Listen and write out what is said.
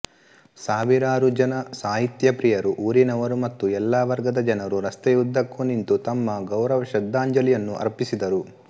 ಸಾವಿರಾರು ಜನ ಸಾಹಿತ್ಯಪ್ರಿಯರು ಊರಿನವರು ಮತ್ತು ಎಲ್ಲಾ ವರ್ಗದ ಜನರೂ ರಸ್ತೆಯುದ್ದಕ್ಕೂ ನಿಂತು ತಮ್ಮ ಗೌರವಶ್ರದ್ಧಾಂಜಲಿಯನ್ನು ಅರ್ಪಿಸಿದರು